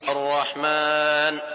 الرَّحْمَٰنُ